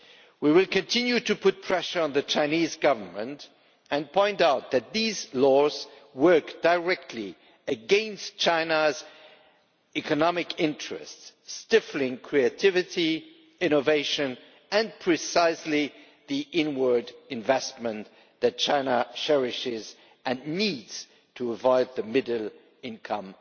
We will continue to put pressure on the Chinese Government and point out that these laws work directly against China's economic interests, stifling creativity, innovation and precisely the inward investment that China cherishes and needs to avoid the middle income